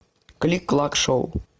клик клак шоу